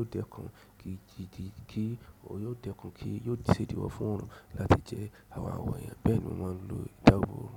o dẹkùn ki ki kí ó yóò ṣèdíwọ́ fún orùn láti jẹ àwọn àwọ̀ èèyàn. Bẹ́ẹ̀ni, mo máa ń lo ìdáàbò orùn.